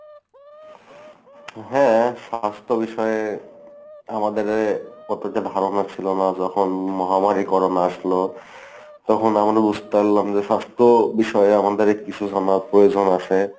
হ্যাঁ, স্বাস্থ্য বিষয়ে আমাদের অতটা ধারণা ছিল না। যখন মহামারী করোনা আসলো তখন আমরা বুঝতে পারলাম যে স্বাস্থ্য বিষয়ে আমাদের কিছু জানার প্রয়োজন আছে।